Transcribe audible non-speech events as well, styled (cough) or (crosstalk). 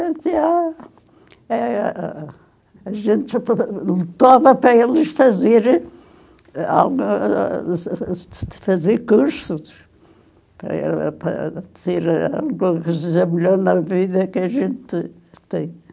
gente ia é ãh a gente (unintelligible) torna para eles fazerem (unintelligible) fazer cursos, para ela para ser a (unintelligible) na vida que a gente tem.